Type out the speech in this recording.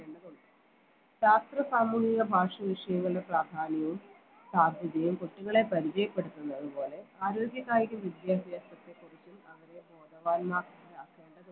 ശാസ്ത്ര സാമൂഹിക ഭാഷ വിഷയങ്ങളുടെ പ്രാധാന്യവും സാധ്യതയും കുട്ടികളെ പരിചയപ്പെടുത്തുന്നത് പോലെ ആരോഗ്യകായിക വിദ്യാഭ്യാസത്തെ കുറിച്ച് അവരെ ബോധവാന്മാരാക്കേണ്ടതുണ്ട്